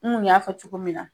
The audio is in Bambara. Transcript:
N kun y'a fɔ cogo min na